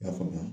I y'a faamuya